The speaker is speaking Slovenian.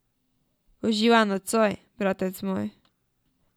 Uživaj nocoj, bratec moj.